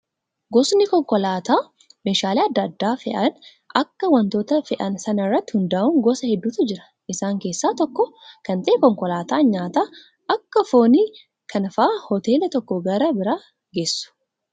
Gosoonni konkolaataa meeshaalee adda addaa fe'an akka wantoota fe'an sana irratti hundaa'uun gosa hedduutu jiru. Isaan keessaa tokko kan ta'e konkolaataa nyaata akka foonii kana fa'aa hoteela tokkoo gara biraa geessu.